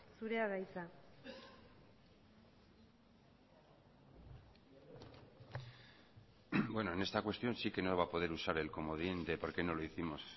zurea da hitza bueno en esta cuestión sí que no va a poder usar el comodín de por qué no lo hicimos